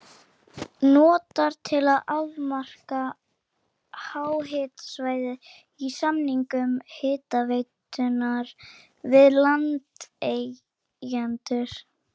notaðar til að afmarka háhitasvæðið í samningum hitaveitunnar við landeigendur.